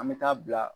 An bɛ taa bila